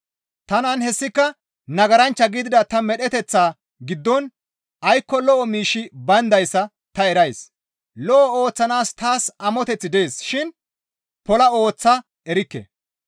Tanan hessika nagaranchcha gidida ta medheteththa giddon aykko lo7o miishshi bayndayssa ta erays; lo7o ooththanaas taas amoteththi dees shin pola ooththa erikke.